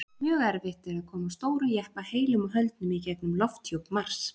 Mjög erfitt er að koma stórum jeppa heilum og höldnum í gegnum lofthjúp Mars.